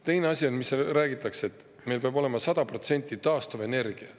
Teine asi, mida räägitakse: meil peab olema 100% taastuvenergia.